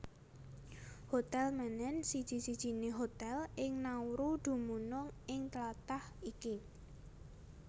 Hotel Menen siji sijiné hotel ing Nauru dumunung ing tlatah iki